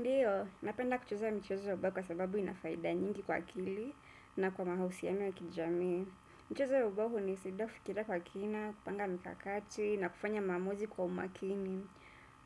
Ndiyo, napenda kucheza micheza ya ubao kwa sababu ina faida nyingi kwa akili na kwa mahusiano ya kijamii. Mcheza ya ubao hunisaidia kufikiria kwa kina, kupanga mikakati na kufanya maamuzi kwa umakini.